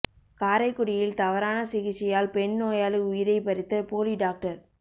காரைக்குடியில் தவறான சிகிச்சையால் பெண் நோயாளி உயிரை பறித்த போலி டாக்டர்